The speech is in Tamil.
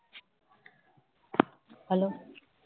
hello